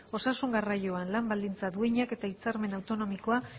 osasun garraioan lan baldintza duinak eta hitzarmen autonomikoa